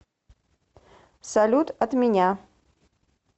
салют от меня